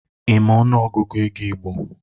Ị ma ọnụ Ọgụgụ ego igbo?